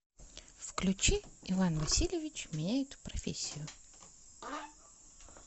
включи иван васильевич меняет профессию